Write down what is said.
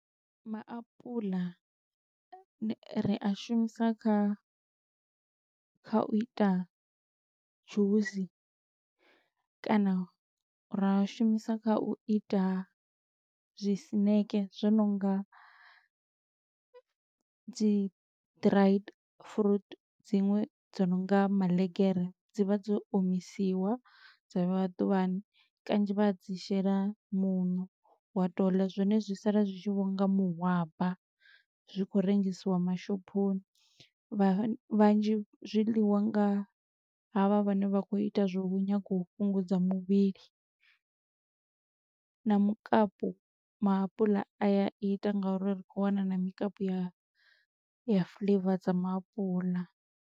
Maapuḽa ni ri a shumisa kha kha u ita dzhusi, kana ra a shumisa kha u ita zwisineke zwo no nga dzi dried fruit dziṅwe dzo nonga maḽegere, dzi vha dzo omisiwa dza vheiwa ḓuvhani, kanzhi vha dzi shela muṋo, wa to u ḽa zwone zwi sala zwi tshi vhonga mahwaba zwi khou rengisiwa mashophoni, vha vhanzhi zwiḽiwa nga ha vha vhane vha khou ita zwo u nyaga u fhungudza muvhili. Na mukapu, maapuḽa a ya ita nga uri ri khou wana na mikapu ya fuḽeiva dza maapuḽa.